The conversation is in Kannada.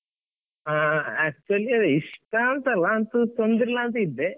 ಹಾ actually ಇಷ್ಟಾ ಅಂತ ಅಲ್ಲ ಅಂತು ತೊಂದ್ರೆ ಇಲ್ಲ ಅಂತ ಇದ್ದೆ.